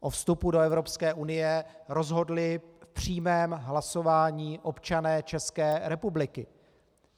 O vstupu do Evropské unie rozhodli v přímém hlasování občané České republiky.